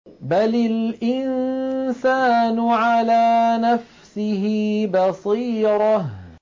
بَلِ الْإِنسَانُ عَلَىٰ نَفْسِهِ بَصِيرَةٌ